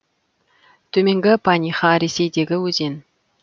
төменгі паниха ресейдегі өзен